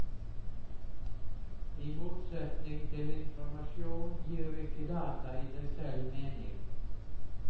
I motsetning til informasjon gir ikke data i seg selv mening.